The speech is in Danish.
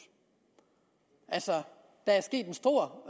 altså der er sket en stor